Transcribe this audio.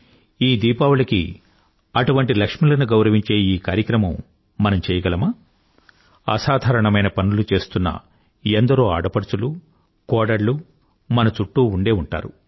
ఈ దీపావళికి అటువంటి లక్ష్ములను గౌరవించే ఈ కార్యక్రమం మనం చేయగలమా అసాధారణమైన పనులు చేస్తున్న ఎందరో ఆడపడుచులూ కోడళ్ళూ మన చుట్టూ ఉండే ఉంటారు